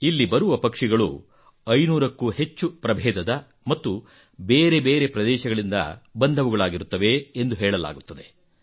ಇಲ್ಲಿ ಬರುವ ಪಕ್ಷಿಗಳು 500 ಕ್ಕೂ ಹೆಚ್ಚು ಪ್ರಭೇದದ ಮತ್ತು ಬೇರೆ ಬೇರೆ ಪ್ರದೇಶಗಳಿಂದ ಬಂದವುಗಳಾಗಿರುತ್ತವೆ ಎಂದೂ ಹೇಳಲಾಗುತ್ತದೆ